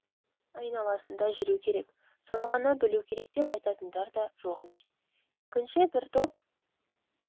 айналасында жүру керек соны ғана білу керек деп айтатындар да жоқ емес екінші бір топ